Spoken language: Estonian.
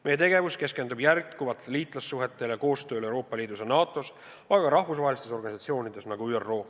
Meie tegevus keskendub jätkuvalt liitlassuhetele ning koostööle Euroopa Liidus ja NATO-s, aga ka rahvusvahelistes organisatsioonides, nagu ÜRO.